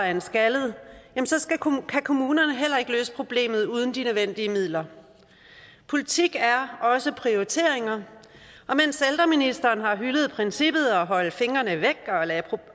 af en skaldet kan kommunerne heller ikke løse problemet uden de nødvendige midler politik er også prioriteringer og mens ældreministeren har hyldet princippet om at holde fingrene væk